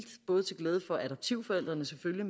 både til glæde for adoptivforældrene selvfølgelig